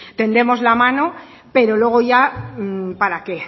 tendemos la mano pero luego ya para qué